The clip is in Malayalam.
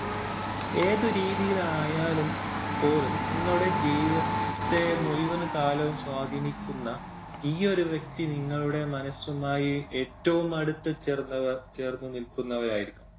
ഏത് രീതിയിലായാലും പോലും നിങ്ങളുടെ ജീവിതത്തെ മുഴുവൻ കാലവും സ്വാധീനിക്കുന്ന ഈ ഒരു വ്യക്തി നിങ്ങളുടെ മനസ്സുമായി ഏറ്റവും അടുത്ത് ചേർന്നു ചേർന്ന്നിൽക്കുന്നവരായിരിക്കും.